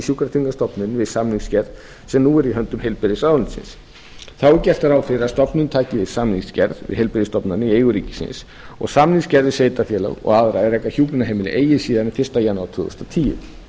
sjúkratryggingastofnunin við samningsgerð sem nú er í höndum heilbrigðisráðuneytisins þá er gert ráð fyrir að stofnunin taki við samningsgerð við heilbrigðisstofnanir í eigu ríkisins og samningsgerð við sveitarfélög og aðra er reka hjúkrunarheimili eigi síðar en fyrsta janúar tvö þúsund og tíu